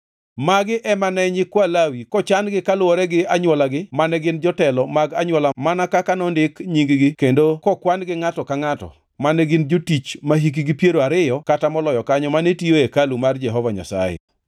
Magi ema ne nyikwa Lawi kochan-gi kaluwore gi anywolagi mane gin jotelo mag anywola mana kaka nondik nying-gi kendo kokwan-gi ngʼato ka ngʼato, mane gin jotich mahikgi piero ariyo kata moloyo kanyo mane tiyo e hekalu mar Jehova Nyasaye.